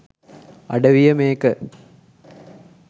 අඩවිය මේක.